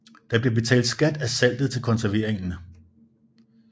Der blev betalt skat af saltet til konserveringen